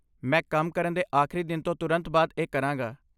ਮੈਂ ਕੰਮ ਕਰਨ ਦੇ ਆਖਰੀ ਦਿਨ ਤੋਂ ਤੁਰੰਤ ਬਾਅਦ ਇਹ ਕਰਾਂਗਾ।